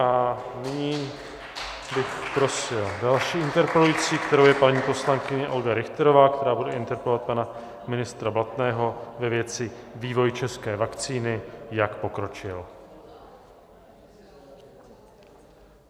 A nyní bych prosil další interpelující, kterou je paní poslankyně Olga Richterová, která bude interpelovat pana ministra Blatného ve věci vývoj české vakcíny, jak pokročil.